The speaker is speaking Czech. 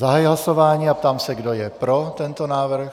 Zahajuji hlasování a ptám se, kdo je pro tento návrh.